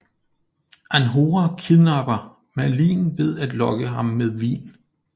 Anhora kidnapper Merlin ved at lokke ham med vin